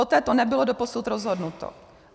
O této nebylo doposud rozhodnuto.